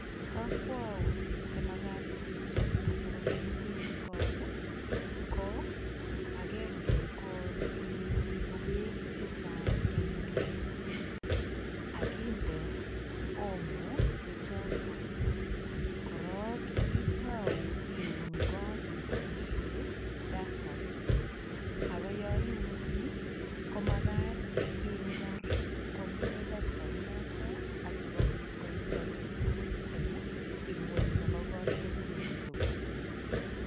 Kakwautik che magat isub sikotililit kot ko agenge ko iibu beek che chang en indoit akinde omo beechoto. Korok itau iun kot iboisie dastait ago yo iuni komagat ingur komie dastait noto asigopit koistogei beek tugul eng ing'weny nebo kot kitililitu kot mising.